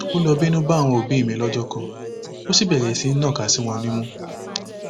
ó lọ bínú bá àwọn òbí mi lọjọ kan ó bẹrẹ sí í nàka sí wọn nímú